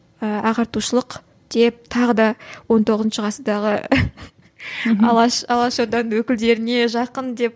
ыыы ағартушылық деп тағы да он тоғызыншы ғасырдағы алаш алаш орданың өкілдеріне жақын деп